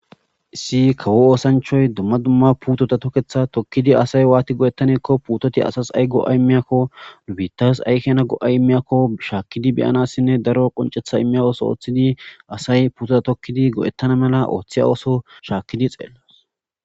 issi kawo oosanchoy dumma dumma puutota tokketha tokkidi asay waati go7ettaneekko puutoti asas ay go7a immiyakko ubiitas aykena go7ay immiyakko shaakkidi beyanassinne daro qoncetha immiya ooso ooththidi asay puuto tokkidi go7ettana mela ooththiya ooso shaakkidi xeellos